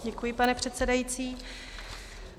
Děkuji, pane předsedající.